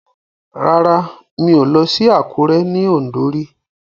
Rárá mi ò lọ sí Àkúré ní Ọ̀ǹdó rí